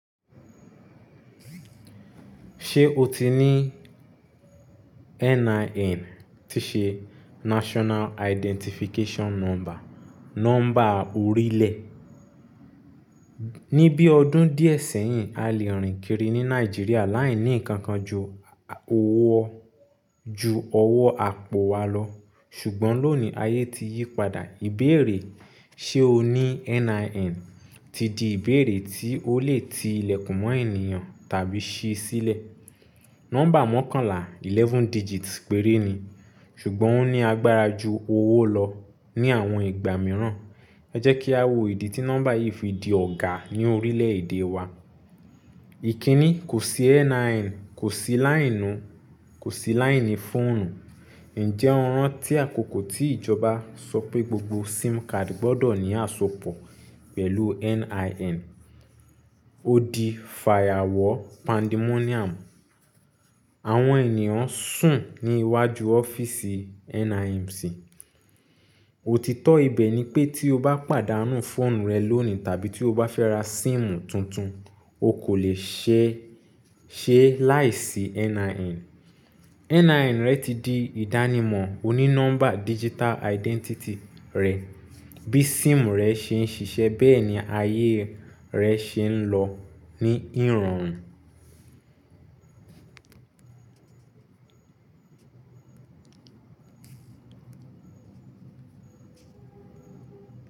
Ṣé o ti ní NIN, tí ṣe National Identification Number, nọ́mbà orílẹ̀? Ni bí ọdún díẹ̀ sẹ́yìn, a lè rìn kiri ní Nàìjíríà láìní nǹkan ju owó ju ọwọ́ àpò wa lọ, ṣùgbọ́n lónìí ayé ti yí padà. Ìbéèrè ṣe o ní NIN ti di ìbéèrè tí ó lè ti ilẹ̀kùn mọ́ ènìyàn tàbí ṣí sílẹ̀. Nọ́mbà mọ́kànlá, eleven digits péré ni, ṣùgbọ́n ó ní agbára ju owó lọ ní àwọn ìgbà mìíràn. Ẹ jẹ́ kí a wo ìdí tí nọ́mbà yìí fi di ọ̀gá ní orílẹ̀-èdè wa. Ìkíni kò sí NIN, kò sí láìnu, kò sí láìní fóònù. Ǹjẹ́ ọ̀ràn tí àkókò tí ìjọba sọ pé gbogbo SIM card gbọdọ̀ ní àsopọ̀ pẹ̀lú NIN. Ó di fàyàwọ́ pandemonium. Àwọn ènìyàn sùn ní iwájú ọ́fíìsì NIMC. Òtítọ́ ibẹ̀ ni pé tí o bá pàdánù fóònù rẹ lónìí tàbí tí o bá fẹ́ ra síìmù tuntun, o kò lè ṣe é ṣe láìsí NIN. NIN rẹ ti di ìdánimọ̀ onínọ́mbà digital identity rẹ. Bí SIM rẹ ṣe ń ṣiṣẹ́, bẹ́ẹ̀ ni ayé rẹ ṣe ń lọ ní ìrọ̀rùn.